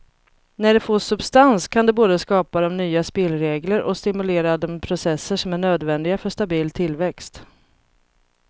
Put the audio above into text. När det får substans kan det både skapa de nya spelregler och stimulera de processer som är nödvändiga för stabil tillväxt.